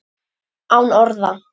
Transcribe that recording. Án orða.